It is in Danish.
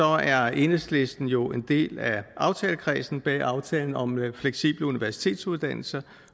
er enhedslisten jo en del af aftalekredsen bag aftalen om fleksible universitetsuddannelser